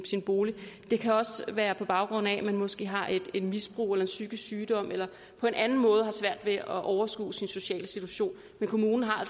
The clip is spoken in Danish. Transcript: bolig det kan også være på baggrund af at man måske har et misbrug eller en psykisk sygdom eller på anden måde har svært ved at overskue sin sociale situation men kommunerne har